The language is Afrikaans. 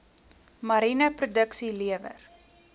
mariene produksie lewer